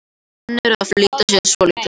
Menn eru að flýta sér svolítið.